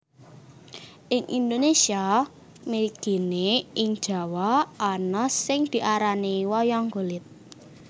Ing Indonesia mligine ing Jawa ana sing diarani Wayang Kulit